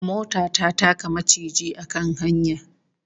Mota ta taka maciji a kan hanya